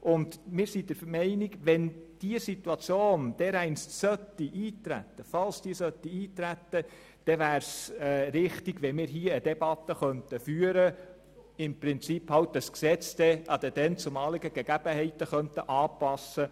Wir sind der Meinung, wenn diese Situation dereinst eintreten sollte, dann wäre es richtig, hier eine entsprechende Debatte führen zu können und das Gesetz den dann geltenden Gegebenheiten anzupassen.